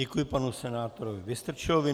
Děkuji panu senátorovi Vystrčilovi.